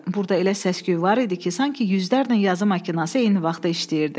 Burda elə səs-küy var idi ki, sanki yüzlərlə yazı makinası eyni vaxtda işləyirdi.